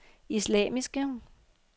islamiske